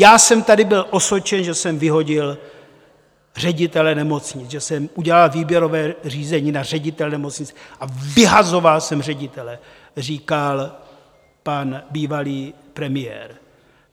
Já jsem tady byl osočen, že jsem vyhodil ředitele nemocnice, že jsem udělal výběrové řízení na ředitele nemocnic a vyhazoval jsem ředitele, říkal pan bývalý premiér.